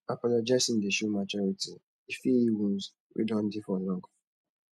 apologizing dey show maturity e fit heal wounds wey don dey for long